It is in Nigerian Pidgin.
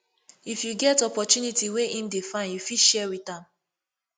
if yu get opportunity wey em dey find yu fit share wit am